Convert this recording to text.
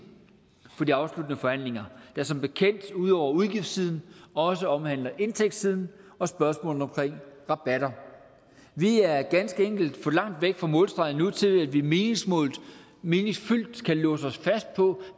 for de afsluttende forhandlinger der som bekendt ud over udgiftssiden også omhandler indtægtssiden og spørgsmålene om rabatter vi er ganske enkelt for langt væk fra målstregen nu til at vi meningsfyldt kan låse os fast på